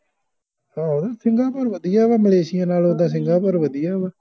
ਹੋਰ ਸਿੰਗਾਪੁਰ ਵਧਿਆ ਮਲੇਸ਼ੀਆ ਨਾਲੋਂ ਤੇ ਸਿੰਗਾਪੁਰ ਵਧਿਆ ਵਾ